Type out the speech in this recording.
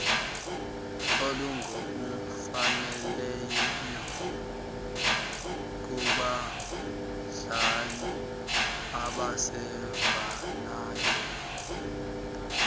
olungokufaneleyo kubadlali abasavelayo